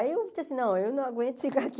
Aí eu disse assim, não, eu não aguento ficar aqui.